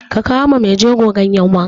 Ka kawo wa maijego ganyen wanka!